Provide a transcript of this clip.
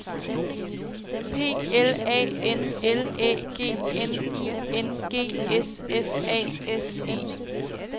P L A N L Æ G N I N G S F A S E